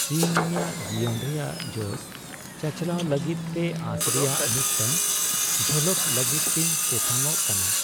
ᱤᱧ ᱤᱧᱟᱹᱜ ᱡᱤᱭᱚᱱ ᱨᱮᱭᱟᱜ ᱡᱚᱥ ᱪᱟᱪᱟᱞᱟᱣ ᱞᱟᱹᱜᱤᱫᱛᱮ ᱟᱸᱥ ᱨᱮᱭᱟᱜ ᱢᱤᱫᱴᱟᱝ ᱡᱷᱟᱞᱟᱠ ᱞᱟᱹᱜᱤᱫᱤᱧ ᱛᱮᱛᱟᱝᱚᱜ ᱠᱟᱱᱟ ᱾